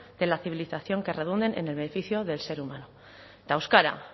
de la civilización que redunden en el beneficio del ser humano eta euskara